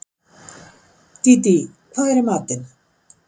Dídí, hvað er í matinn?